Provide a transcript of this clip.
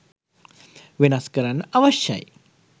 වෙනස් කරන්න අවශ්‍යයි.